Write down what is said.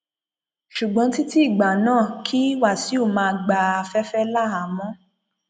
ṣùgbọn títí ìgbà náà kí wáṣíù máa gba afẹfẹ láhàámọ